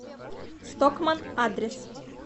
стокманн адрес